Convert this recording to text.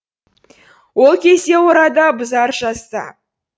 ол кезде орда бұзар жаста